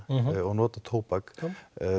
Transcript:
og nota tóbak já